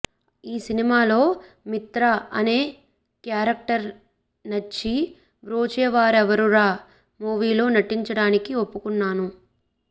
ఈ సినిమాలో మిత్రా అనే క్యారెక్టర్ నచ్చి బ్రోచేవారెవరురా మూవీలో నటించడానికి ఒప్పుకొన్నాను